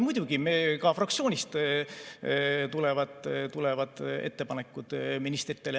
Muidugi, ka fraktsioonist tulevad ettepanekud ministritele.